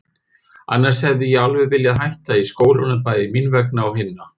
Annars hefði ég alveg viljað hætta í skólanum, bæði mín vegna og hinna.